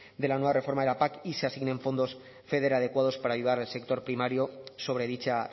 de la nueva reforma de la pac y se asignen fondos feder adecuados para ayudar al sector primario sobre dicha